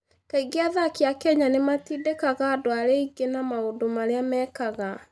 Kaingĩ athaki a Kenya nĩ matindĩkaga andũ arĩa angĩ na maũndũ marĩa mekaga.